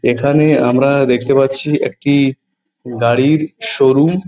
এইখানে আমরা দেখতে পারছি একটি গাড়ির শোরুম ।